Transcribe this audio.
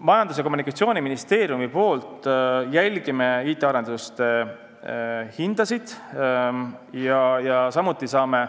Majandus- ja Kommunikatsiooniministeeriumis jälgime IT-arenduste hindasid ja saame